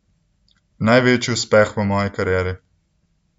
Največji uspeh v moji karieri!